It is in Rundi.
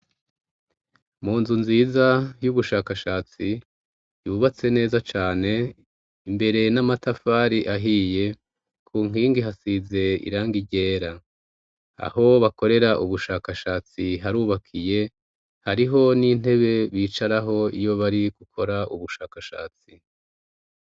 Mu nzu nziza y'ubushakashatsi yubatse neza cane, imbere n'amatafari ahiye, ku nkingi hasize irangi ryera, aho bakorera ubushakashatsi harubakiye, hariho n'intebe bicaraho iyo bari gukora ubushakashatsi.